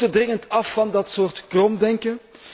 We moeten dringend af van dat soort kromdenken.